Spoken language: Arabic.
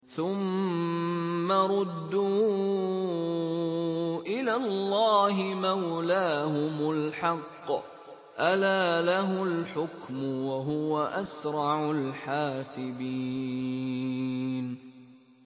ثُمَّ رُدُّوا إِلَى اللَّهِ مَوْلَاهُمُ الْحَقِّ ۚ أَلَا لَهُ الْحُكْمُ وَهُوَ أَسْرَعُ الْحَاسِبِينَ